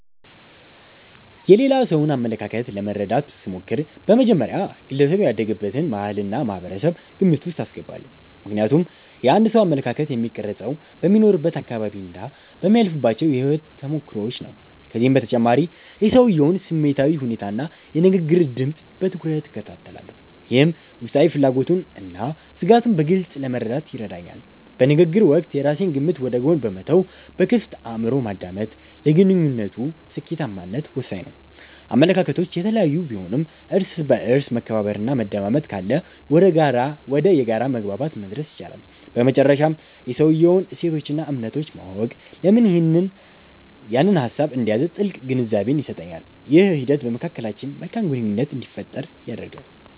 የሌላ ሰውን አመለካከት ለመረዳት ስሞክር፣ በመጀመሪያ ግለሰቡ ያደገበትን ባህልና ማህበረሰብ ግምት ውስጥ አስገባለሁ። ምክንያቱም የአንድ ሰው አመለካከት የሚቀረፀው በሚኖርበት አካባቢና በሚያልፍባቸው የህይወት ተሞክሮዎች ነው። ከዚህም በተጨማሪ የሰውየውን ስሜታዊ ሁኔታና የንግግር ድምፅ በትኩረት እከታተላለሁ፤ ይህም ውስጣዊ ፍላጎቱንና ስጋቱን በግልፅ ለመረዳት ይረዳኛል። በንግግር ወቅት የራሴን ግምት ወደ ጎን በመተው በክፍት አእምሮ ማዳመጥ፣ ለግንኙነቱ ስኬታማነት ወሳኝ ነው። አመለካከቶች የተለያዩ ቢሆኑም፣ እርስ በእርስ መከባበርና መደማመጥ ካለ ወደ የጋራ መግባባት መድረስ ይቻላል። በመጨረሻም የሰውየውን እሴቶችና እምነቶች ማወቅ፣ ለምን ያንን ሀሳብ እንደያዘ ጥልቅ ግንዛቤን ይሰጠኛል። ይህ ሂደት በመካከላችን መልካም ግንኙነት እንዲፈጠር ያደርጋል።